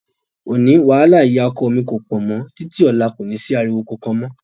Òní, wàhálà ìyá ọkọ mi kò pọ̀ mọ́, títí ọ̀la kò ní sí ariwo kankan mọ́.